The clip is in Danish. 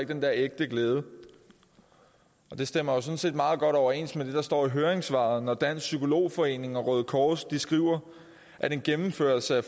den der ægte glæde det stemmer jo sådan set meget godt overens med det der står i høringssvaret når dansk psykolog forening og røde kors skriver at en gennemførelse af